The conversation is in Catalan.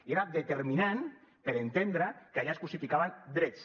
i era determinant per entendre que allà es crucificaven drets